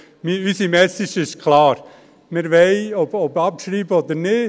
Unsere Message ist klar, ob abschreiben oder nicht: